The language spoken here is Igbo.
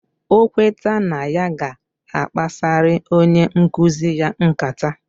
Okweta na ya ga akpasiri onye nkuzi ya nkata,